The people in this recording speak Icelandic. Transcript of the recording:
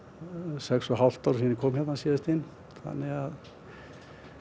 sex og hálft ár síðan ég kom hingað síðast þannig að